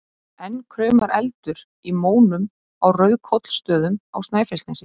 Enn kraumar eldur í mónum á Rauðkollsstöðum á Snæfellsnesi.